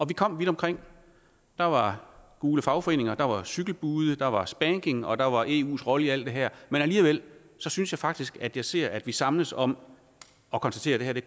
vi kom vidt omkring der var gule fagforeninger der var cykelbude der var spanking og der var eus rolle i alt det her men alligevel synes jeg faktisk at jeg ser at vi samles om at konstatere at